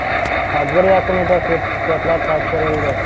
Tadbir yakunida sertifikatlar topshirildi.